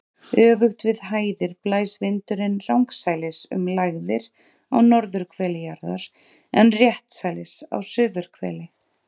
Öfugt við hæðir blæs vindurinn rangsælis um lægðir á norðurhveli jarðar en réttsælis á suðurhveli.